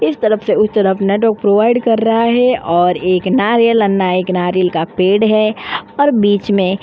इस तरफ से उस तरफ नेटवर्क प्रोवाईड कर रहा है और एक नारियल अन्ना एक नारियल का पेड़ है और बीच में --